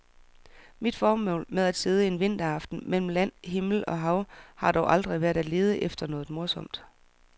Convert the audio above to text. Mit formål med at sidde en vinteraften mellem land, himmel og hav har dog aldrig været at lede efter noget morsomt.